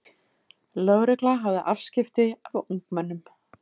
Lögregla hafði afskipti af ungmennum